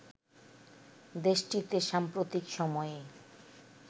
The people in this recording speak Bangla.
দেশটিতে সাম্প্রতিক সময়ে